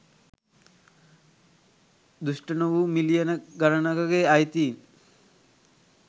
දුෂ්ට නොවූ මිලියන ගණනකගේ අයිතීන්